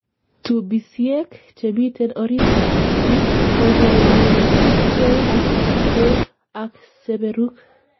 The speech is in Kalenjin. tubisiek chemiten oritit ab itik kokeroksei ak beek ak serebuk